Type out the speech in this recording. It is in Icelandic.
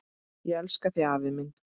Ég elska þig afi minn.